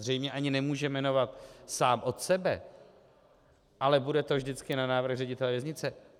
Zřejmě ani nemůže jmenovat sám od sebe, ale bude to vždycky na návrh ředitele věznice.